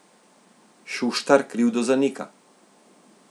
Šuštar krivdo zanika.